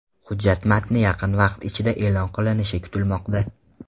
Hujjat matni yaqin vaqt ichida e’lon qilinishi kutilmoqda.